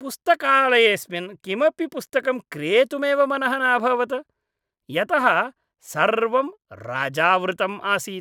पुस्तकालयेऽस्मिन् किमपि पुस्तकं क्रेतुमेव मनः न अभवत्, यतः सर्वं रजावृतम् आसीत्।